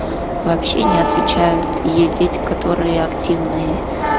вообще не отвечают есть дети которые активные